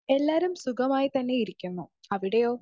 Speaker 2 എല്ലാരും സുഗമായി തന്നെ ഇരിക്കുന്നു. അവിടെയോ ?